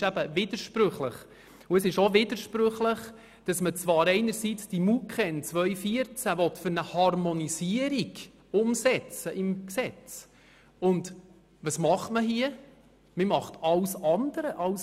Es ist eben widersprüchlich und es ist auch widersprüchlich, wenn man zwar einerseits die MuKEn 2014 für eine Harmonisierung im Gesetz umsetzen will und andererseits alles andere tut.